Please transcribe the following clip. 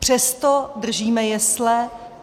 Přesto držíme jesle.